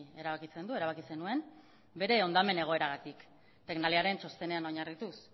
erabakitzen du erabaki zenuen bere hondamen egoeragatik tecnaliaren txostenean oinarrituz